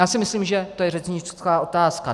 Já si myslím, že to je řečnická otázka.